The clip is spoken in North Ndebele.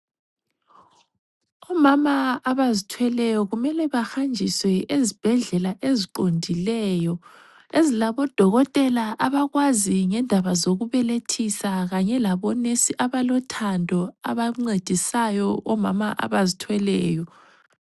Omama abazithweleyo kumele bahanjiswe ezibhedlela eziqondileyo ,ezilabo dokotela abakwazi ngendaba zokubelethisa kanye labo nesi abalothando abancedisayo omama abazithweleyo.